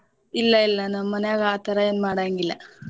ಇಲ್ಲಾ ಇಲ್ಲಾ ನಮ ಮನ್ಯಾಗ ಆ ತರಾ ಏನ ಮಾಡಾಂಗಿಲ್ಲ.